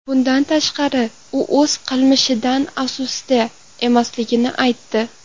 Bundan tashqari, u o‘z qilmishidan afsusda emasligini aytdi.